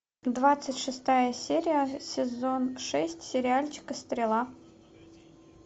двадцать шестая серия сезон шесть сериальчика стрела